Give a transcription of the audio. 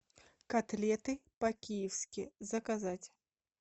котлеты по киевски заказать